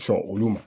Sɔn olu ma